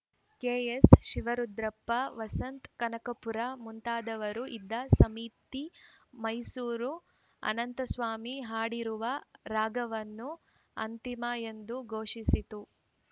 K S Shivarudrappa Vasantha Kanakapura ಮುಂತಾದವರು ಇದ್ದ ಸಮಿತಿ ಮೈಸೂರು ಅನಂತಸ್ವಾಮಿ ಹಾಡಿರುವ ರಾಗವನ್ನು ಅಂತಿಮ ಎಂದು ಘೋಷಿಸಿತು